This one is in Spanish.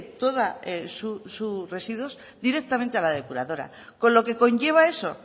todos sus residuos directamente a la depuradora con lo que conlleva eso